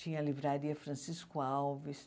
Tinha a livraria Francisco Alves.